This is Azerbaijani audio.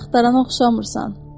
Heç axtarana oxşamırsan.